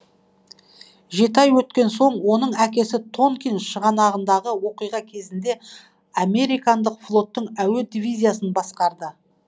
жеті ай өткен соң оның әкесі тонкин шығанағындағы оқиға кезінде американдық флоттың әуе дивизиясын басқарды